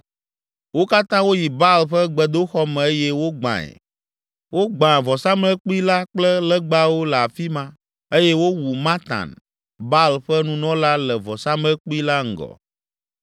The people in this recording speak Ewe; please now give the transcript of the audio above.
Wo katã woyi Baal ƒe gbedoxɔ me eye wogbãe. Wogbã vɔsamlekpui la kple legbawo le afi ma eye wowu Matan, Baal ƒe nunɔla le vɔsamlekpui la ŋgɔ.